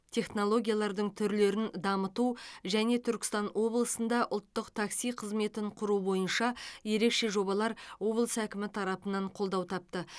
технологиялардың түрлерін дамыту және түркістан облысында ұлттық такси қызметін құру бойынша ерекше жобалар облыс әкімі тарапынан қолдау тапты